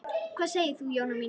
Hvað segir þú, Jóna mín?